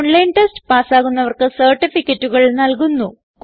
online test പാസ്സാകുന്നവർക്ക് സർട്ടിഫികറ്റുകൾ നല്കുന്നു